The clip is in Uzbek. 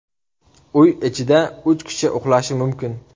Uy ichida uch kishi uxlashi mumkin.